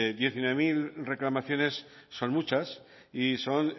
diecinueve mil reclamaciones son muchas y son